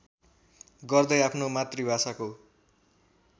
गर्दै आफ्नो मातृभाषाको